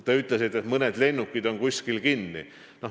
Te ütlesite, et mõned lennukid on kuskil kinni.